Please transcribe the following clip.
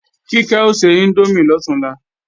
Kíkẹ́ o se índómì lọ̀túnla